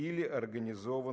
или организован